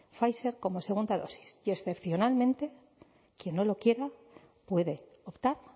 pfizer como segunda dosis y excepcionalmente quien no lo quiera puede optar